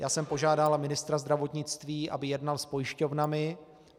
Já jsem požádal ministra zdravotnictví, aby jednal s pojišťovnami.